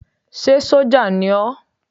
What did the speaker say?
Ṣé sójà ni ó?